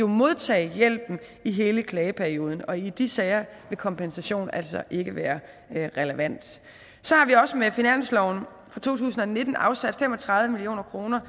modtage hjælpen i hele klageperiode og i de sager vil kompensation altså ikke være relevant så har vi også med finansloven for to tusind og nitten afsat fem og tredive million kroner